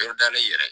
Yɔrɔ dalen yɛrɛ